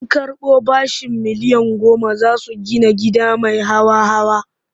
Sun karɓo bashin miliyan goma za su gida gida mai hawa-hawa.